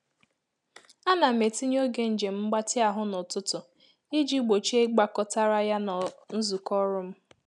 A na m etinye oge njem mgbatị ahụ n’ụtụtụ iji gbochie igbakọtara ya na nzukọ ọrụ m